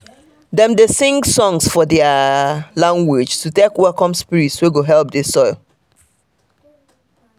dem dey sing songs for their um language to take welcome spirit wey go help the soil.